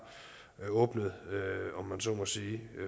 jeg åbnet posen